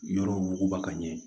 Yɔrɔw ba ka ɲɛ